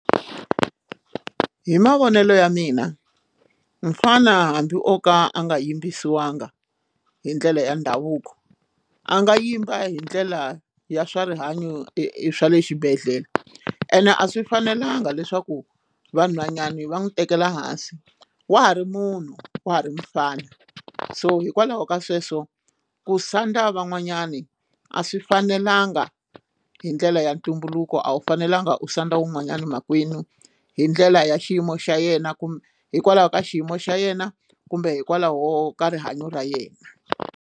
Hi mavonelo ya mina nfana o ka a nga yimbisiwangi hi ndlela ya ndhavuko a nga yimba hi ndlela ya swa rihanyo e swa le xibedhlele ene a swi fanelanga leswaku vanhwanyani va n'wi tekela hansi wa ha ri munhu wa ha ri mufana so hikwalaho ka sweswo ku sandza van'wanyani a swi fanelanga hi ndlela ya ntumbuluko a wu fanelanga u sandza wun'wanyana makwenu hi ndlela ya xiyimo xa yena kumbe hikwalaho ka xiyimo xa yena kumbe hikwalaho ka rihanyo ra yena.